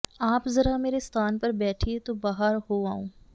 ਆਪ ਜ਼ਰਾ ਮੇਰੇ ਸਥਾਨ ਪਰ ਬੈਠੀਏ ਤੋ ਬਾਹਰ ਹੋ ਆਊਂ